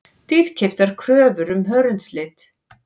Dýrkeyptar kröfur um hörundslit